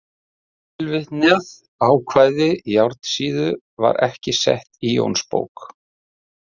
Tilvitnað ákvæði Járnsíðu var ekki sett í Jónsbók.